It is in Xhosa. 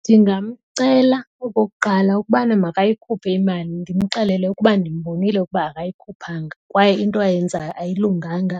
Ndingamcela okokuqala ukubana makayikhuphe imali ndimxelele ukuba ndimbonile ukuba akayikhuphanga kwaye into ayenzayo ayilunganga